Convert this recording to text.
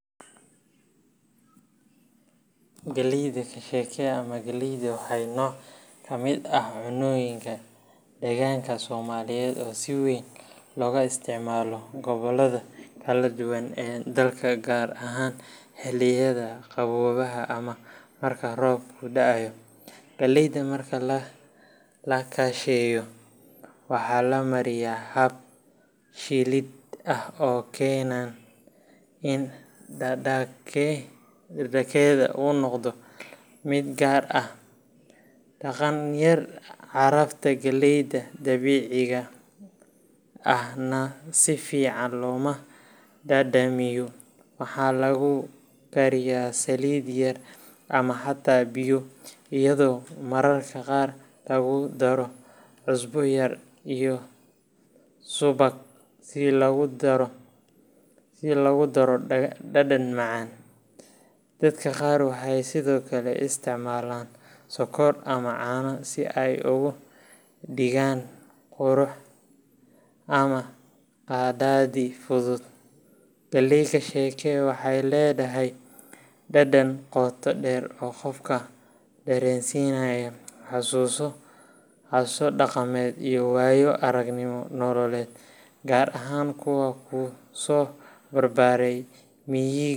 Galleyda kasheke ama galleyda waa nooc ka mid ah cunnooyinka dhaqanka Soomaaliyeed oo si weyn looga isticmaalo gobollada kala duwan ee dalka, gaar ahaan xilliyada qaboobaha ama marka roobku da’o. Galleyda marka la kasheeyo, waxa la mariyaa hab shiilid ah oo keena in dhadhankeeda uu noqdo mid gaar ah qadhaadh yar, carafta galleyda dabiiciga ahna si fiican looga dhadhamiyo. Waxaa lagu karayaa saliid yar ama xataa biyo, iyadoo mararka qaar lagu daro cusbo yar iyo subag si loogu daro dhadhan macaan. Dadka qaar waxay sidoo kale isticmaalaan sokor ama caano si ay uga dhigaan quraac ama qadadi fudud. Galley kasheke waxay leedahay dhadhan qoto dheer oo qofka dareensiinaya xusuuso dhaqameed iyo waayo aragnimo nololeed, gaar ahaan kuwa ku soo barbaaray miyiga.